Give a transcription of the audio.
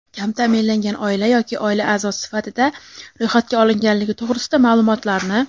kam taʼminlangan oila yoki oila aʼzosi sifatida ro‘yxatga olinganligi to‘g‘risida maʼlumotlarni;.